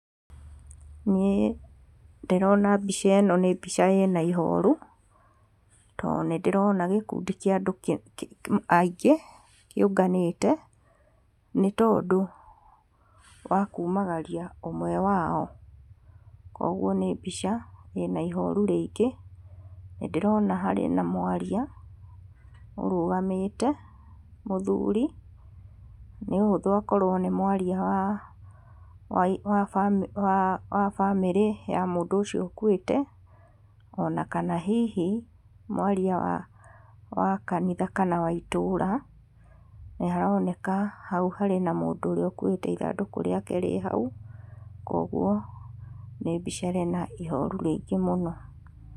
Niĩ ndĩrona mbica ĩno nĩ mbica ĩna ihoru tondũ nĩ ndĩrona gĩkundi kĩa andũ aingĩ kĩũnganĩte nĩ tondũ wa kumagaria ũmwe wao. Kũoguo nĩ mbica ĩna ihoru rĩingĩ. Nĩ ndĩrona harĩ na mwaria ũrũgamĩte, mũthuri, nĩ ũhuthũ akorwo nĩ mwaria wa bamĩrĩ ya mũndũ ũcio ũkuĩte ona kana hihi mwaria wa kanitha kana wa itũra. Nĩ haroneka hau hena mũndũ ũrĩa ũkuĩte ithandũkũ rĩake rĩ hau. Kũoguo nĩ mbia ĩrĩ na ihoru rĩingĩ mũno.